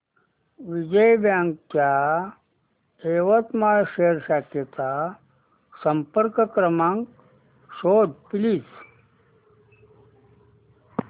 Vijaya bank च्या यवतमाळ शहर शाखेचा संपर्क क्रमांक शोध प्लीज